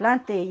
Plantei.